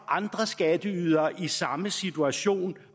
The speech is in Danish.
andre skatteydere i samme situation